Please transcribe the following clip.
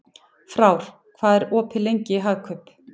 Frár, hvað er opið lengi í Hagkaup?